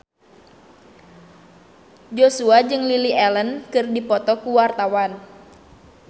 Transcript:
Joshua jeung Lily Allen keur dipoto ku wartawan